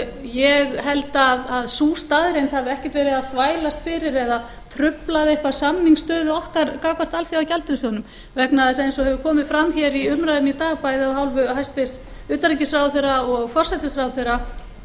ég held að sú staðreynd hafi ekkert verið að þvælast fyrir eða trufla eitthvað samningsstöðu okkar gagnvart alþjóðagjaldeyrissjóðnum vegna þess eins og hefur komið fram hér í umræðunni í dag bæði af hálfu hæstvirts utanríkisráðherra og forsætisráðherra